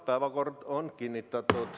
Päevakord on kinnitatud.